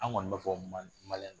An kɔni ba fɔ ma, maliyɛn